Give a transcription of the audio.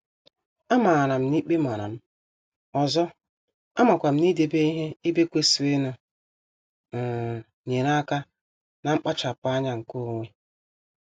Amara m n'ikpe maram, ọzọ, amakwam n'idebe ihe ebe kwesịrịnụ um nyere aka na nkpachapu anya nke onwe.